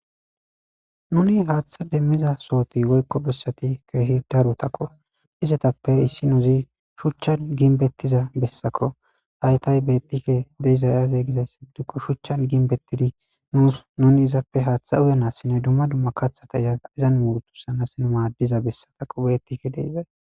Nuni haaththa demmiza sohoti woykko bessati keehi daru takko izetappe issi nuuzi shuchchan ginbettiza bessako haytay bettife deizay aze gizay sibdukko shuchchan ginbettidi nuus nuni izappe haaththa uyanassinne dumma dumma kathata izaa izan muurtu sanasnu maaddiza bessataqo beettike deizay